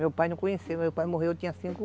Meu pai eu não conheci, meu pai morreu, eu tinha cinco